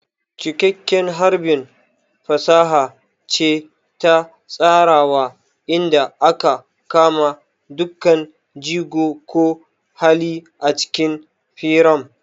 Cikakken harbi fasaha ce ta tsarawa inda aka kama dukkan jigo ko hali a cikin firam.